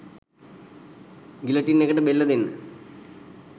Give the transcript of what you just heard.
guillotine එකට බෙල්ල දෙන්න